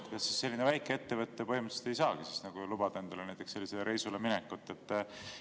Kas selline väikeettevõte põhimõtteliselt ei saagi lubada endale näiteks reisile minekut?